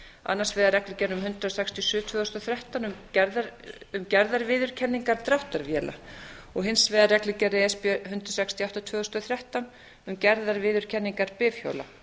annars vegar reglugerð númer hundrað sextíu og sjö tvö þúsund og þrettán um gerðarviðurkenningar dráttarvéla og hins vegar reglugerð e s b hundrað sextíu og átta tvö þúsund og þrettán um gerðarviðurkenningar bifhjóla